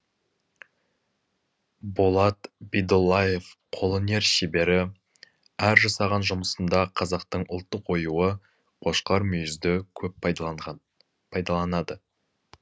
болат бидоллаев қолөнер шебері әр жасаған жұмысында қазақтың ұлттық оюы қошқар мүйізді көп пайдаланады